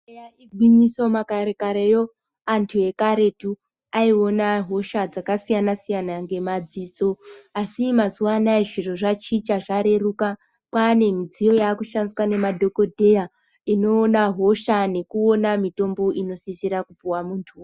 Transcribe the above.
Eya igwinyiso makare karewo antu ekaretu aiona hosha dzakasiyana siyana ngemadziso asi mazuwa anaya zviro zvachinja zvareruka kwane midziyo yakushandiswa nemadhokodheya inoona hosha nekuona mitombo inosisira kupuwa muntu.